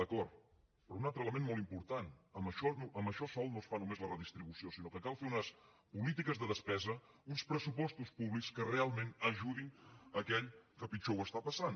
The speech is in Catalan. d’acord però un altre element molt important amb això sol no es fa només la redistribució sinó que cal fer unes polítiques de despesa uns pressupostos públics que realment ajudin aquell que pitjor ho està passant